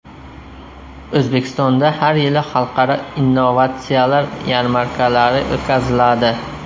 O‘zbekistonda har yili xalqaro innovatsiyalar yarmarkalari o‘tkaziladi.